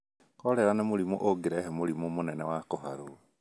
Korera nĩ mũrimũ ũngĩrehe mũrimũ mũnene wa kũharwo.